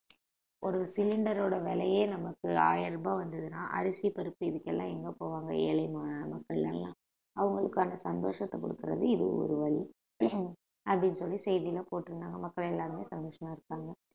ஒரு cylinder ஓட விலையே நமக்கு ஆயிரம் ரூபாய் வந்ததுன்னா அரிசி பருப்பு இதுக்கு எல்லாம் எங்க போவாங்க ஏழையான மக்கள் எல்லாம் அவங்களுக்குகான சந்தோஷத்தை கொடுக்கிறது இது ஒரு வழி அப்படின்னு சொல்லி செய்தியிலே போட்டிருந்தாங்க மக்கள் எல்லாருமே சந்தோஷமா இருப்பாங்க